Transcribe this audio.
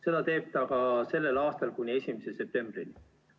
Seda teeb ta ka sellel aastal kuni 1. septembrini.